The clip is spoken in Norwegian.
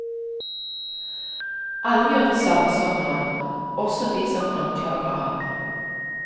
Alle gjør det samme som han, også de som anklager ham.